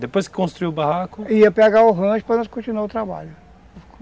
Depois que construiu o barraco... Ia pegar o rancho para nós continuarmos o trabalho.